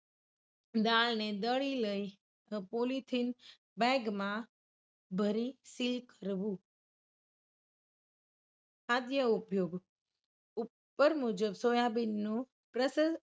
દાળને દરી લઈ polythene bag માં ભરી seal કરવું. આગ્ય ઉપયોગ ઉપર મુજબ સોયાબીન નો